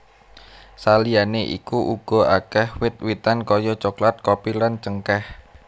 Saliyané iku uga akèh wit witan kaya coklat kopi lan cengkèh